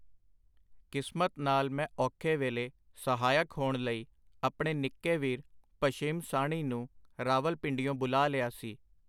ਕਿਸਮਤ ਨਾਲ ਮੈਂ ਔਖੇ ਵੇਲੇ ਸਹਾਇਕ ਹੋਣ ਲਈ, ਆਪਣੇ ਨਿੱਕੇ ਵੀਰ ਭਸ਼ਿਮ ਸਾਹਣੀ ਨੂੰ ਰਾਵਲਪਿੰਡੀਓਂ ਬੁਲਾ ਲਿਆ ਸੀ.